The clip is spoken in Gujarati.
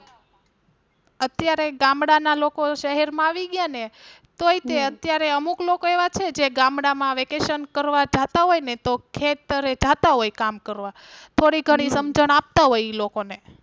અત્યારે ગામડાં ના લોકો શહેર માં આવી ગયા ને તોય તે અત્યારે અમુક લોકો એવા છે જે ગામડાં માં Vacation કરવા જતા હોય ને તો ખેતરે જતા હોય કામ કરવા થોડી ઘણી સમજણ આપતા હોય ઈ લોકો ને.